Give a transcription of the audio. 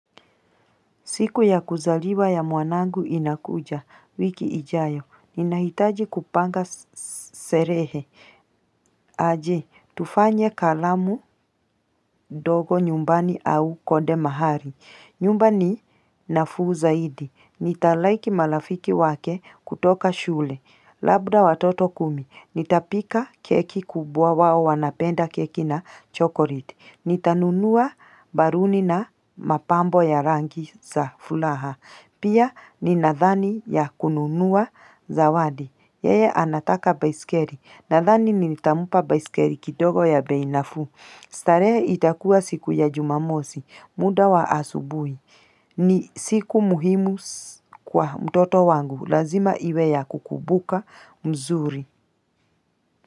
Siku ya kuzaliwa ya mwanangu inakuja, wiki ijayo, ninahitaji kupanga sherehe, aje, tufanye karamu dogo nyumbani au konde mahali, nyumbani nafuu zaidi, nitalaiki malafiki wake kutoka shule, labda watoto kumi, nitapika keki kubwa wao wanapenda keki na chokoleti. Nitanunua baruni na mapambo ya rangi za fulaha Pia ninadhani ya kununua zawadi Yeye anataka baisikeri Nadhani ni nitampa baisikeri kidogo ya bei nafuu starehe itakuwa siku ya jumamosi muda wa asubui ni siku muhimu kwa mtoto wangu Lazima iwe ya kukubuka mzuri.